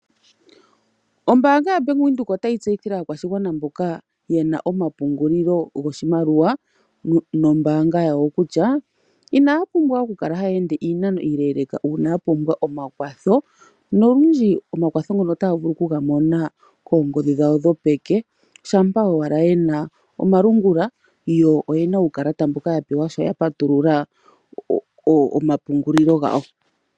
Ombaanga yaBank Windhoek otayi tseyithile aakwashigwana mboka ye na omapungulilo goshimaliwa nombaanga yawo kutya inaya pumbwa okukala haya ende iinano iileeleka uuna ya pumbwa omakwatho nolundji omakwatho ngono otaya vulu okuga mona koongodhi dhawo dhopeke shampa owala ye na omalungula yo oye na uukalata mboka ya pewa sho ya patulula omapungulilo gawo.